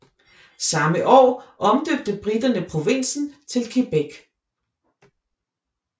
Samme år omdøbte briterne provinsen til Quebec